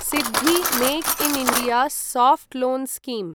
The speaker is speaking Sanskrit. SIDBI make in India soft loan scheme